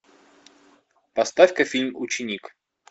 поставь ка фильм ученик